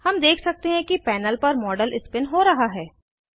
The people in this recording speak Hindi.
हम देख सकते हैं कि पैनल पर मॉडल स्पिन हो रहा है